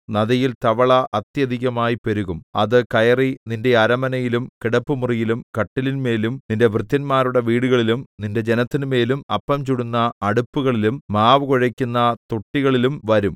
നദിയിൽ തവള അത്യധികമായി പെരുകും അത് കയറി നിന്റെ അരമനയിലും കിടപ്പുമുറിയിലും കട്ടിലിന്മേലും നിന്റെ ഭൃത്യന്മാരുടെ വീടുകളിലും നിന്റെ ജനത്തിന്മേലും അപ്പം ചുടുന്ന അടുപ്പുകളിലും മാവു കുഴയ്ക്കുന്ന തൊട്ടികളിലും വരും